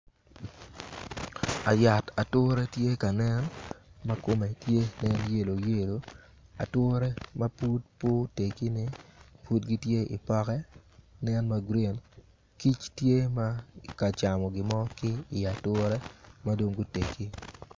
Yat ature tye ka nen ma kome tye yelo yelo ature ma pud pe otekine pud gitye i poke nen ma grin kic tye ma tye ka camo gimo ki iyi ature ma dong gutegi.